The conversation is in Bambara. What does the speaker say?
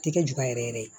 Tɛ kɛ juga yɛrɛ yɛrɛ ye